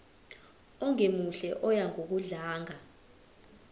ongemuhle oya ngokudlanga